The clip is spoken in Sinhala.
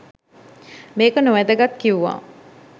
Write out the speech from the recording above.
මේක නොවැදගත් කිව්වා